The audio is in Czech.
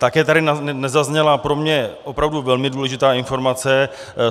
Také tady nezazněla pro mě opravdu velmi důležitá informace.